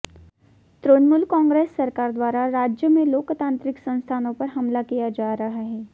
तृणमूल कांग्रेस सरकार द्वारा राज्य में लोकतांत्रिक संस्थानों पर हमला किया जा रहा है